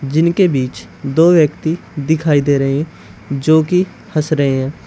जिनके बीच दो व्यक्ति दिखाई दे रहे हैं जो कि हंस रहे हैं।